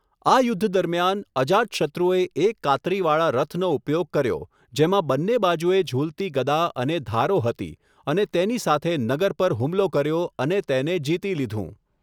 આ યુદ્ધ દરમિયાન, અજાતશત્રુએ એક કાતરીવાળા રથનો ઉપયોગ કર્યો, જેમાં બંને બાજુએ ઝૂલતી ગદા અને ધારો હતી અને તેની સાથે નગર પર હુમલો કર્યો અને તેને જીતી લીધું.